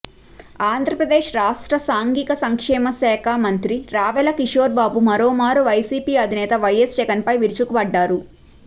ఆంధ్రప్రదేశ్ రాష్ట్ర సాంఘిక సంక్షేమశాఖా మంత్రి రావెల కిషోర్బాబు మరోమారు వైసీపీ అధినేత వైఎస్ జగన్పై విరుచుకుపడ్డారు